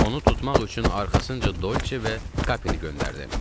Onu tutmaq üçün arxasınca Dolçe və Kapini göndərdim.